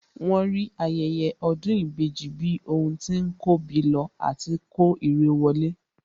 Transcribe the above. Wọ́n rí ayẹyẹ ọdún ìbejì bí ohun tí ń kóbi lọ àti kó irẹ wọlé